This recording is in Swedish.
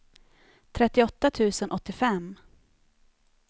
trettioåtta tusen åttiofem